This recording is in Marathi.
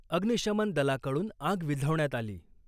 अग्निशमन दलाकडून आग विझवण्यात आली .